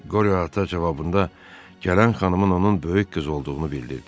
Qoryo ata cavabında gələn xanımın onun böyük qızı olduğunu bildirdi.